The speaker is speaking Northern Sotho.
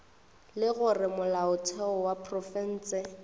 le gore molaotheo wa profense